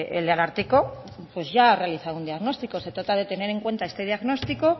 el ararteko pues ya ha realizado un diagnóstico se trata de tener en cuenta este diagnóstico